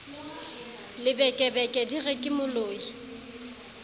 lebekebeke di re ke moloi